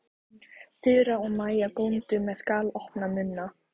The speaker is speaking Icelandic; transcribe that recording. Þura og Maja góndu með galopna munna.